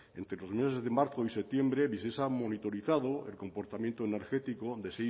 entre los meses de marzo y septiembre visesa ha monitorizado el comportamiento energético